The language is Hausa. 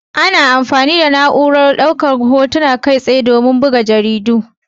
Ana amfani da na'urar Hotuna Kai tsaye don buga jaridu.